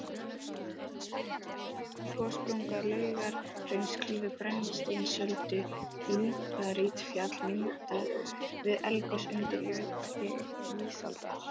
Gossprunga Laugahrauns klýfur Brennisteinsöldu, líparítfjall myndað við eldgos undir jökli ísaldar.